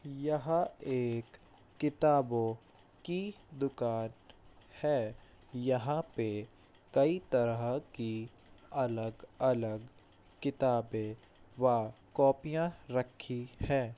यह एक किताबों की दुकान है यहाँ पे कई तरह की अलग-अलग किताबें व कोपिया रखी है।